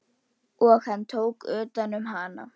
Og hann tók utan um hana.